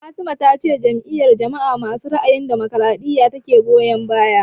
Fatima ta ce Jam'iyar jama'a masu ra'ayin damokaraɗiya ta ke goyan baya